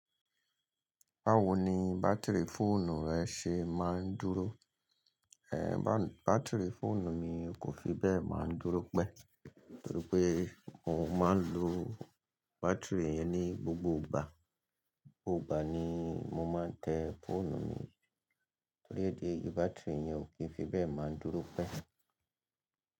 Báwo ni bátìrì fóònù rẹ ṣe máa ń dúró? Ẹ̀, bátìrì fóònù mi kò fi bẹ́ẹ̀ máa ń dúró pẹ́, torí pé mo máa ń lo bátìrì yẹn ní gbogbo gbà. Gbogbo gbà ni mo máa ń tẹ́ fóònù mi, torí ìdí èyí bátìrì yẹn ò kí ń fi bẹ́ẹ̀ máa ń dúró pẹ́.